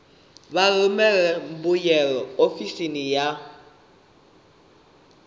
vha rumele mbuyelo ofisini ya